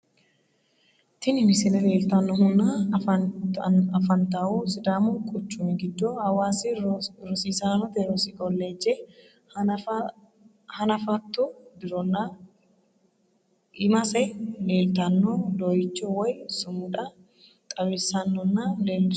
Tini misile lelitanoohunna affanittahu sidamu quuchumi gido hawaasi rosiisaanote rosi kolleeje hannafattu dirona imasse lelittano doyicho woy suumuda xawissanonna lelishshano